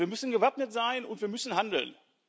Wir müssen gewappnet sein, und wir müssen handeln.